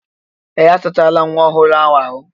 Ee! A sachala nwa ọhụrụ ahụ.